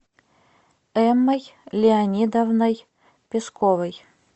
эммой леонидовной песковой